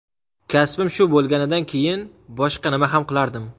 Kasbim shu bo‘lganidan keyin, boshqa nima ham qilardim?